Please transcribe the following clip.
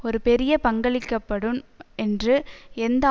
ஒரு பெரிய பங்களிக்கப்படும் என்று எந்த